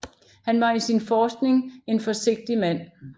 Han var i sin forskning en forsigtig mand